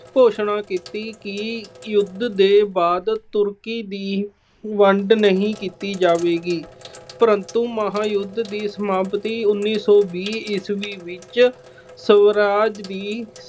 ਘੋਸ਼ਣਾ ਕੀਤੀ ਕਿ ਯੁਧ ਦੇ ਬਾਅਦ Turkey ਦੀ ਵੰਡ ਨਹੀਂ ਕੀਤੀ ਜਾਵੇਗੀ ਪਰੰਤੂ ਮਹਾਯੁਧ ਦੀ ਸਮਾਪਤੀ ਉਨੀ ਸੌ ਵੀਹ ਈਸਵੀ ਵਿੱਚ ਸਵਰਾਜ ਦੀ